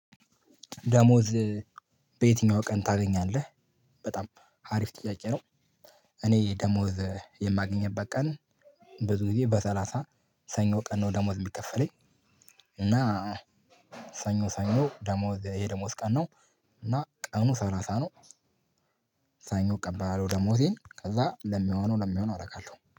ደሞዝ በየትኛው ቀን ታገኛለህ? በጣም አሪፍ ጥያቄ ነው። እኔ ደሞዝ የማገኘበት ቀን ብዙ ጊዜ በሰላሳ ሰኞ ቀን ነው ደሞዝ የሚከፈለኝ። እና ሰኞ ሰኞ ደሞዝ የ ደሞዝ ቀን ነው። እና ቀኑ ሰላሳ ነው። ሰኞ እቀበላለው ደሞዜን ከዛ ለሚሆነው ለሚሆነው አደርጋለሁ